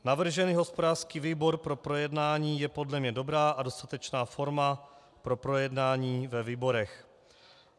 Navržený hospodářský výbor pro projednání je podle mě dobrá a dostatečná forma pro projednání ve výborech.